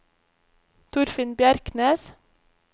Torfinn Bjerknes